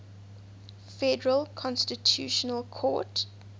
federal constitutional court